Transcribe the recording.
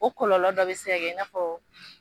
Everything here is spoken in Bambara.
O kɔlɔlɔ dɔ be se ka kɛ i n'a fɔ